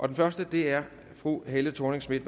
den første er fru helle thorning schmidt